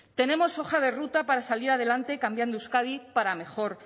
tenemos hoja de ruta para salir adelante cambiando euskadi para mejor